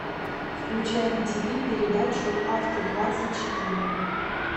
включай на ти ви передачу авто двадцать четыре